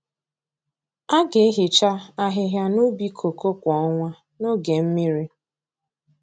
A ga-ehicha ahịhịa n’ubi kooko kwa ọnwa n’oge mmiri.